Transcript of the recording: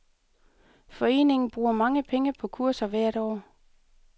Foreningen bruger mange penge på kurser hvert år.